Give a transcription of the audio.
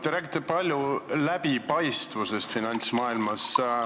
Te räägite palju läbipaistvusest finantsmaailmas.